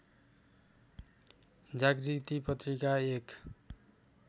जागृति पत्रिका एक